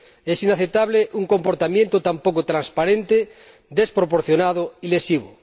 Es inaceptable un comportamiento tan poco transparente, desproporcionado y lesivo.